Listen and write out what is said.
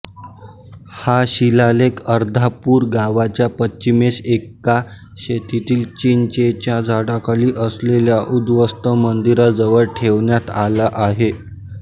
हा शिलालेख अर्धापूर गावाच्या पश्चिमेस एका शेतातील चिंचेच्या झाडाखाली असलेल्या उद्धस्त मंदिराजवळ ठेवण्यात आला आहे